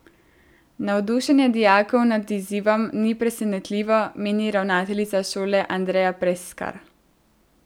Navdušenje dijakov nad izzivom ni presenetljivo, meni ravnateljica šole Andreja Preskar.